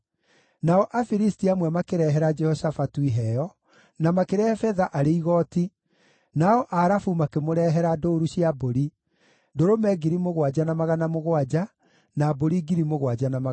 Nao Afilisti amwe makĩrehera Jehoshafatu iheo, na makĩrehe betha arĩ igooti, nao Arabu makĩmũrehere ndũũru cia mbũri: ndũrũme 7,700 na mbũri 7,700.